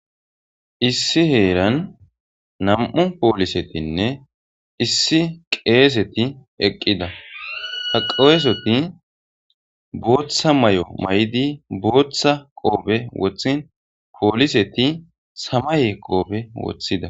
issi heeran nam7u poolisetinne issi qeeseti eqqida ha qowesoti booththa may7o may7di booththa qoobe wothin pooliseti samaye qoobe wothida